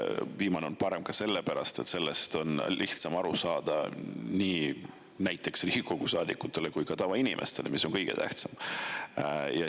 Viimane on parem ka sellepärast, et sellest on lihtsam aru saada nii Riigikogu saadikutel kui ka tavainimestel, mis on kõige tähtsam.